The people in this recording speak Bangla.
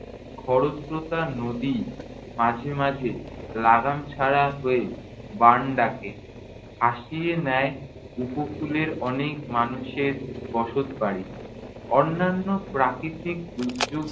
খরস্রোতা নদী মাঝেমাঝে লাগাম ছাড়া হয়ে বান ডাকে। ভাসিয়ে নেয় উপকূলের অনেক মানুষের বসতবাড়ি। অন্যান্য প্রাকৃতিক দুর্যোগ